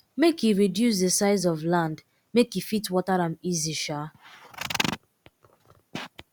um e reduce the size of land make e fit water am easy um